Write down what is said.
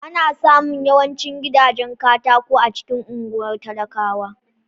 Ana samun yawancin gidajen katako a cikin unguwar talakawa.